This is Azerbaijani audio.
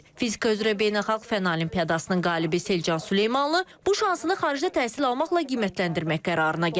Fizika üzrə beynəlxalq Fənn Olimpiadasının qalibi Selcan Süleymanlı bu şansını xaricdə təhsil almaqla qiymətləndirmək qərarına gəlib.